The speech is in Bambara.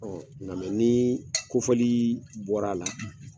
Nka ni kofɔli bɔr'a la